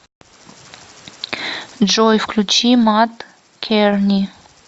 джой включи мат керни